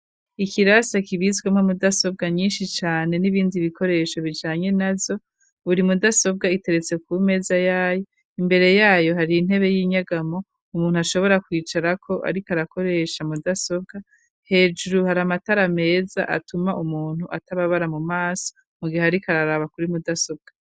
Ikirase, kibitswemo mudasobwa, nyinshi cane, n'ibindi bikoresho, bijanye nazo; buri mudasobwa, iteretse ku meza yayo, imbere yayo, hari intebe y'inyagamo, umuntu ,ashobora kwicarako, ariko arakoresha, mudasobwa; hejuru, hari amatara meza, atuma umuntu, atababara mu maso, mu gihe ariko araraba kuri mudasobwa.